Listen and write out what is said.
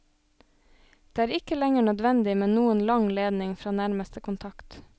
Det er ikke lenger nødvendig med noen lang ledning fra nærmeste kontakt.